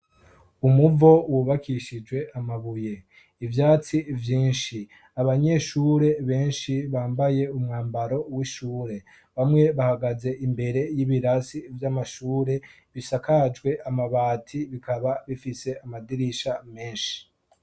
Umuvo wubakishije amabuye, ivyatsi vyinshi, abanyeshure benshi bambaye umwambaro w'ishure. Bamwe bahagaze imbere y'ibirasi vy'amashure bisakajwe amabati, bikaba bifise amadirisha menshi.